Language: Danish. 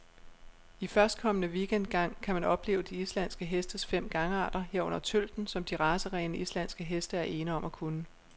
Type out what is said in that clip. I førstkommende weekend gang kan man opleve de islandske hestes fem gangarter, herunder tølten, som de racerene, islandske heste er ene om at kunne.